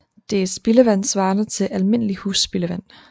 Det er spildevand svarende til almindelig husspildevand